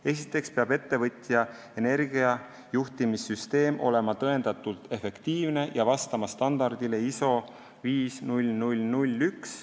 Esiteks peab ettevõtja energiajuhtimissüsteem olema tõendatult efektiivne ja vastama standardile ISO 50001.